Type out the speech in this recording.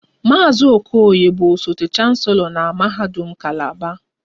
Maazị Okoye bụ osote chancelo na mahadum kalaba